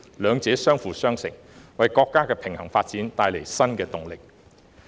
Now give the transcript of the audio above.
兩者相輔相成，為國家的平衡發展帶來新動力。